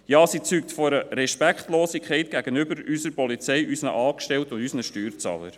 Ja, sie zeugt von einer Respektlosigkeit gegenüber unserer Polizei, unseren Angestellten und unseren Steuerzahlern.